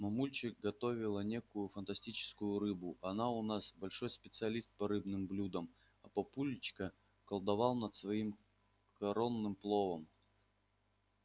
мамульчик готовила некую фантастическую рыбу она у нас большой специалист по рыбным блюдам а папулечка колдовал над своим коронным пловом